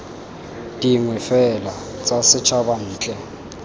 dingwe fela tsa setšhaba ntle